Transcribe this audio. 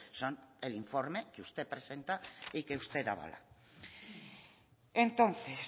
son el informe que usted presenta y que usted avala entonces